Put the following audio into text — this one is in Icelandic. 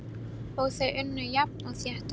Og þau unnu jafnt og þétt á.